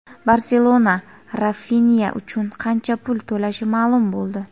"Barselona" Rafinya uchun qancha pul to‘lashi ma’lum bo‘ldi.